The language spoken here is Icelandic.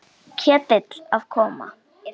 Ketill að koma?